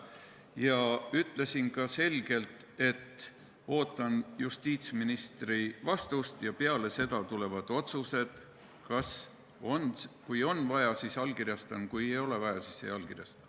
Ma ütlesin ka selgelt, et ootan justiitsministri vastust ja peale seda tulevad otsused, kui on vaja, siis allkirjastan, kui ei ole vaja, siis ei allkirjasta.